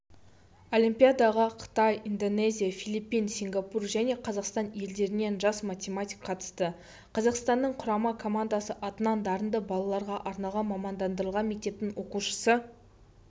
олимпиадаға қытай индонезия филиппин сингапур және қазақстан елдерінен жас математик қатысты қазақстанның құрама командасы атынан дарынды балаларға арналған мамандандырылған мектептің оқушысы